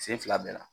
Sen fila bɛɛ la